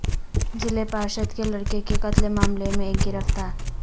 ضلع پارشد کے لڑکے کے قتل معاملے میں ایک گرفتار